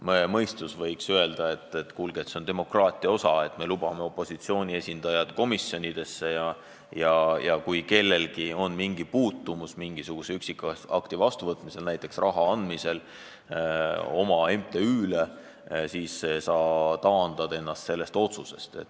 Terve mõistus võiks öelda, et see kuulub demokraatia juurde, et me lubame ka opositsiooni esindajad komisjonidesse ja kui kellelgi on mingi puutumus mõne üksikaktiga, näiteks kui tegu on raha andmisega tolle inimese MTÜ-le, siis ta taandab ennast sellest otsusest.